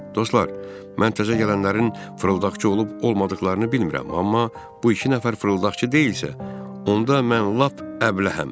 Dostlar, mən təzə gələnlərin fırıldaqçı olub, olmadıqlarını bilmirəm, amma bu iki nəfər fırıldaqçı deyilsə, onda mən lap əbləhəm.